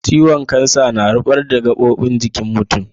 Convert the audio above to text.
ciwon kansar na rubar da gabobin jikin mutum.